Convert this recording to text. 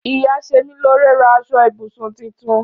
Íyá semilore rà àsọ ìbùsùn títítùn